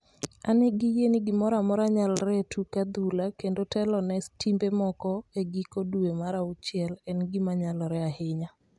"An gi yie ni gimoro amora nyalore e tuk adhula kendo telone timbe moko e giko dwe mar auchiel en gima nyalore ahinya.